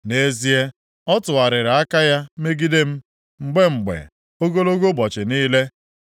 Nʼezie, ọ tụgharịala aka ya megide m, mgbe mgbe, ogologo ụbọchị niile.